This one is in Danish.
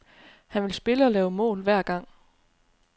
Han vil spille, og lave mål, hver gang.